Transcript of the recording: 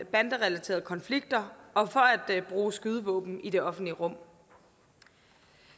banderelaterede konflikter og for at bruge skydevåben i det offentlige rum